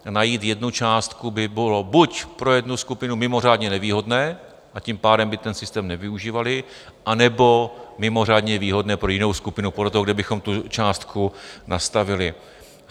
Najít jednu částku by bylo buď pro jednu skupinu mimořádně nevýhodné, a tím pádem by ten systém nevyužívali, anebo mimořádně výhodné pro jinou skupinu, podle toho, kde bychom tu částku nastavili.